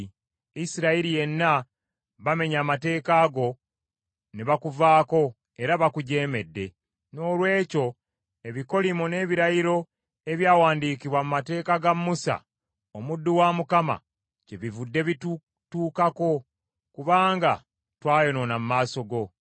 Isirayiri yenna bamenye amateeka go ne bakuvaako, era bakujeemedde. “Noolwekyo ebikolimo n’ebirayiro ebyawandiikibwa mu mateeka ga Musa omuddu wa Mukama kyebivudde bitutuukako kubanga twayonoona mu maaso go.